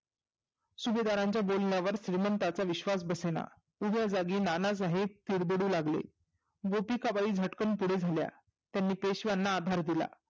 सुबेदाराच्या बोलण्यावर श्रिमंताचा विश्वास बसेना. उभ्या जागी नानासाहेब तिडदडू लागले. गितीकाबाई झटकन पुढे झाल्या त्यांनी पेशवांना अधार दिला.